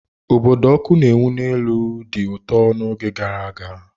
Obodo ọkụ na-enwu n'elu dị ụtọ n'oge gara aga.